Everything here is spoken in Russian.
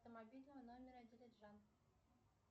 автомобильного номера нр